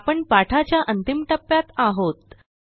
आपण पाठाच्या अंतिम टप्प्यात आहोत